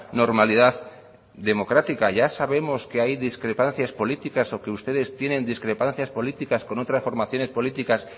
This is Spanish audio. normalidad democrática ya sabemos que hay discrepancias políticas o que ustedes tienen discrepancias políticas con otras formaciones políticas